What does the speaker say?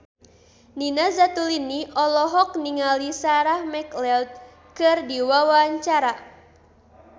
Nina Zatulini olohok ningali Sarah McLeod keur diwawancara